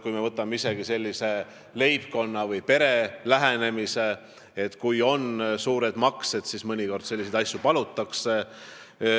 Kui tegu on leibkonna või perega, kellel on suured väljaminekud, ka siis mõnikord sellist asja palutakse.